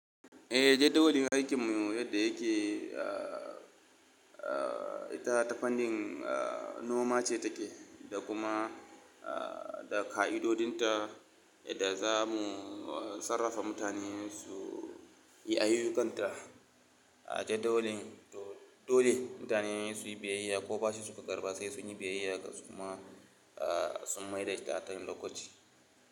Eh, jadawalin aikin mu yadda yake, ah, ah, ita ta funding noma ce take da kuma, ah, da ƙa'idodinta yadda za mu sarrafa mutane su yi ayyukanta. A jadawalin to dole mutane su yi biyayya ko bashi suka ƙarɓa sai sun yi biyayya kuma, ah, sun mai da ta a kan lokaci.